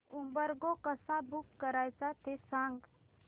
Uber go कसं book करायचं ते सांग